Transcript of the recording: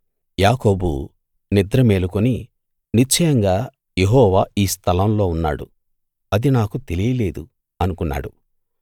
యాకోబు నిద్ర మేలుకుని నిశ్చయంగా యెహోవా ఈ స్థలం లో ఉన్నాడు అది నాకు తెలియలేదు అనుకున్నాడు